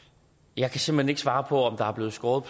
jeg kan simpelt hen ikke svare på om der er blevet skåret